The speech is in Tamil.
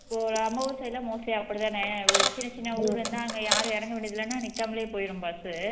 இப்போ நம்ம ஊர் side எல்லாம் mostly அப்படி தானே ஒரு சின்ன சின்ன ஊருன்னா அங்க யாரும் இறங்க வேண்டியது இல்லன்னா நிக்காமலே போயிரும் bus உ